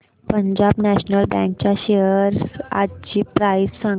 Punjab national bank च्या shares आजची price सांगा